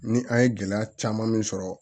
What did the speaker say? Ni an ye gɛlɛya caman min sɔrɔ